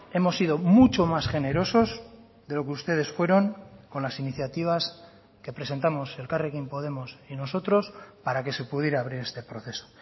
hemos sido mucho más generosos de lo que ustedes fueron con las iniciativas que presentamos elkarrekin podemos y nosotros para que se pudiera abrir este proceso